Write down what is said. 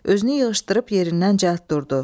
Özünü yığışdırıb yerindən cəld durdu.